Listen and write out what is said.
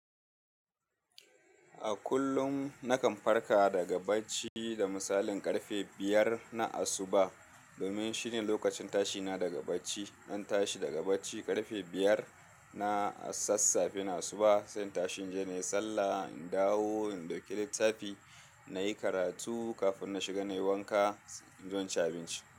A kullum nakan farka daga bacci da misalin ƙarfe biyar na asuba domin shine lokacin tashina daga bacci. Zan tashi daga bacci ƙarfe biyar na sassafe na asuba, sai tashin jiki nayi sallah, in dawo in ɗauki littafi nayi karatu kafin na shiga nayi wanka, in zo in ci abinci.